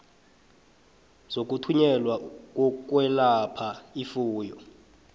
zokuthunyelwa zokwelapha ifuyo